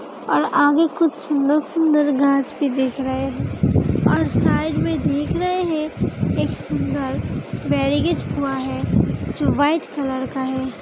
और आगे कुछ सुंदर-सुंदर घास भी दिख रहे हैं और साइड में देख रहे है। एक सुंदर वैरीगेट हुआ है जो व्हाइट कलर का है।